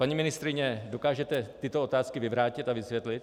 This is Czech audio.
Paní ministryně, dokážete tyto otázky vyvrátit a vysvětlit?